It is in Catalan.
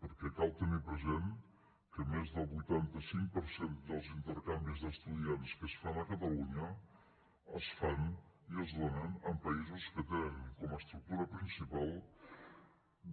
perquè cal tenir present que més del vuitanta cinc per cent dels intercanvis d’estudiants que es fan a catalunya es fan i es donen amb països que tenen com a estructura principal